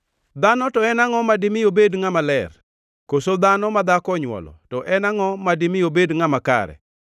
“Dhano to en angʼo madimi obed ngʼama ler, koso dhano ma dhako onywolo, to en angʼo madimi obed ngʼama kare?